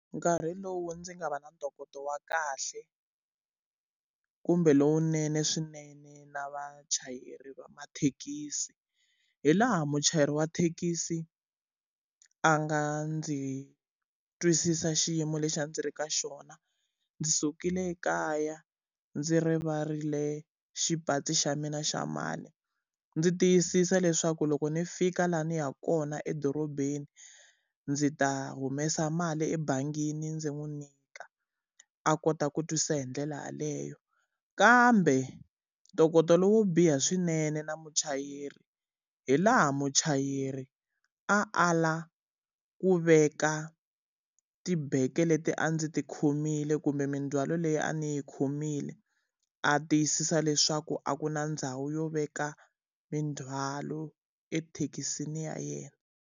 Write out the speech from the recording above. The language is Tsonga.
Nkarhi lowu ndzi nga va na ntokoto wa kahle kumbe lowunene swinene na vachayeri va mathekisi, hi laha muchayeri wa thekisi a nga ndzi twisisa xiyimo lexi a ndzi ri ka xona. Ndzi sukile ekaya ndzi rivarile xipachi xa mina xa mali, ndzi tiyisisa leswaku loko ni fika laha ni yaka kona edorobeni, ndzi ta humesa mali ebangini ndzi n'wi nyika, a kota ku twisisa hi ndlela yaleyo. Kambe ntokoto lowo biha swinene na muchayeri hi laha muchayeri a ala ku veka tibege leti a ndzi ti khomile kumbe mindzhwalo leyi a ni yi khomile, a tiyisisa leswaku a ku na ndhawu yo veka mindzhwalo ethekisini ya yena.